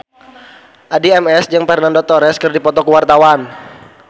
Addie MS jeung Fernando Torres keur dipoto ku wartawan